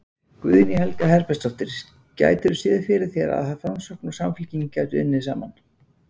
Guðný Helga Herbertsdóttir: Gætirðu séð fyrir þér að Framsókn og Samfylking gætu unnið saman?